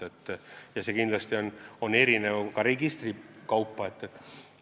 See on kindlasti eri registrite puhul erinev.